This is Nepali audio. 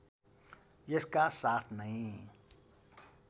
यसका साथ नै